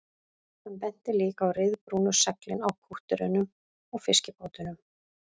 Hann benti líka á ryðbrúnu seglin á kútterunum og fiskibátunum